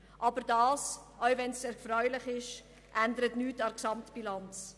Selbst wenn das erfreulich ist, ändert es nichts an der Gesamtbilanz.